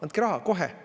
Andke raha, kohe!